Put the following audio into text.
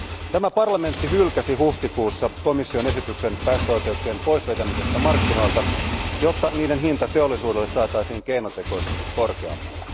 Tämä parlamentti hylkäsi huhtikuussa komission esityksen päästöoikeuksien poisvetämisestä markkinoilta, jotta niiden hinta teollisuudelle saataisiin keinotekoisesti korkeammalle.